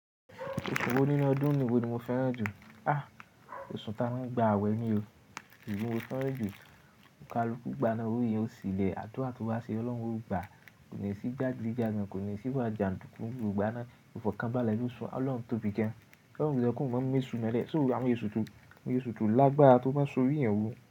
Oṣù wo nínú ọdún ni ìwọ ni mo fẹ́ràn jù? Àh! Oṣù ta mú ń gba àwẹ̀ ni o. Eyì í ni mo fẹ́ràn jù. Ọ̀kalukú gbana owó yẹn ò sílẹ̀. Adura to bá ṣe, Ọlọ́run ò gbà á. Kò ní sí jagidijagan, kò ní sì wà jàǹdùkú. Ò gbana, ìfọ̀kànbalẹ ló sún. Ọlọ́run tóbi gan. Ọlọ́run loke ma mu eṣùn molẹ́. So awon esu to lágbára tó má ṣọ́ oti ìyẹn wò.